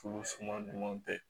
Olu suma ɲuman tɛ